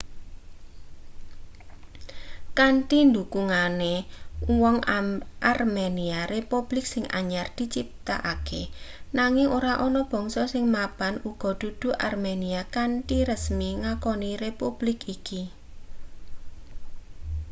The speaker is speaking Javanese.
kanthi dhukungane uwong armenia republik sing anyar diciptakake nanging ora ana bangsa sing mapan uga dudu armenia kanthi resmi ngakoni republik iki